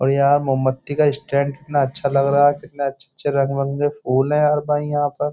और यार मोमबत्ती का स्टैंड कितना अच्छा लग रहा है कितने अच्छे-अच्छे रंग के फूल है यार भाई यहाँ पर।